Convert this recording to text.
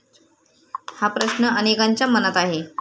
हा प्रश्न अनेकांच्या मनात आहे.